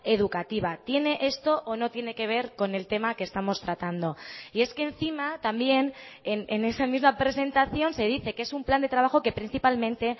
educativa tiene esto o no tiene que ver con el tema que estamos tratando y es que encima también en esa misma presentación se dice que es un plan de trabajo que principalmente